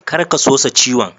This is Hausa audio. Kar ka sosa ciwon.